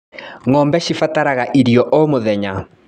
Ngombe cibataraga irio o mũthenya.